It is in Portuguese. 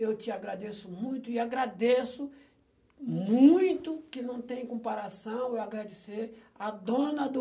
Eu te agradeço muito e agradeço muito, que não tem comparação, eu agradecer a dona do...